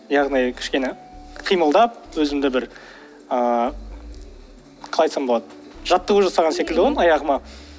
яғни кішкене қимылдап өзімді бір ыыы қалай айтсам болады жаттығу жасаған секілді ғой енді аяғыма